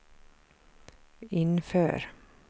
inför